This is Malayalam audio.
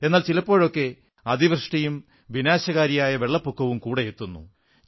എന്നാൽ ചിലപ്പോഴൊക്കെ അതിവൃഷ്ടിയും വിനാശകാരിയായ വെള്ളപ്പൊക്കവും കൂടെയെത്തുന്നു